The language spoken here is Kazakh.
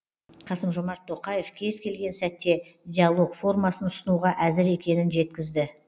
қасым жомарт тоқаев кез келген сәтте диалог формасын ұсынуға әзір екенін жеткізді